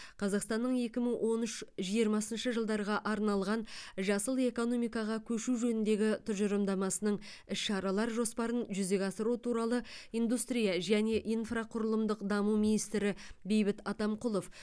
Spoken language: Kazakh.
қазақстанның екі мың он үш жиырмасыншы жылдарға арналған жасыл экономикаға көшу жөніндегі тұжырымдамасының іс шаралар жоспарын жүзеге асыру туралы индустрия және инфрақұрылымдық даму министрі бейбіт атамқұлов